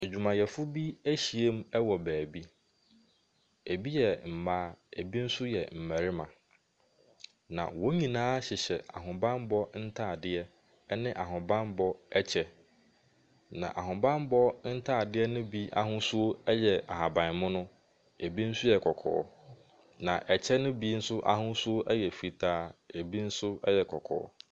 Adwumayɛfo bi ɛhyia mu wo baabi, ebi yɛ mmaa, ebi nso yɛ mmarima. Na wɔn nyinaa hyehyɛ ahobanbɔ ntaadeɛ ɛne ahobanbɔ kyɛ. Na ahobanbɔ ntaadeɛ no bi ahosuo ɛyɛ ahaban mono ebi nso yɛ kɔkɔɔ na ɛkyɛ no bi nso ahosuo ɛyɛ fitaa, ebi nso ɛyɛ kɔkɔɔ.